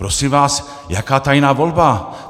Prosím vás, jaká tajná volba?